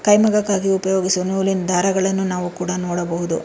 ಕೈಮಗಕ್ಕಾಗಿ ಉಪಯೋಗಿಸುವ ನೋಲಿನ್ ದಾರಗಳನ್ನು ನಾವು ಕೂಡ ನೋಡಬಹುದು.